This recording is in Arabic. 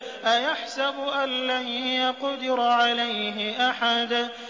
أَيَحْسَبُ أَن لَّن يَقْدِرَ عَلَيْهِ أَحَدٌ